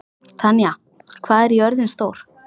Tanya, hvað er jörðin stór?